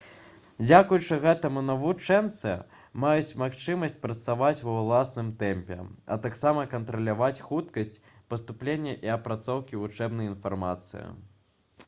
дзякуючы гэтаму навучэнцы маюць магчымасць працаваць ва ўласным тэмпе а таксама кантраляваць хуткасць паступлення і апрацоўкі вучэбнай інфармацыі